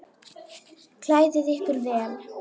Klæðið ykkur vel.